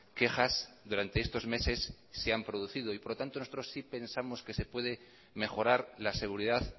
quejas durante estos meses se han producido y por lo tanto nosotros si pensamos que se puede mejorar la seguridad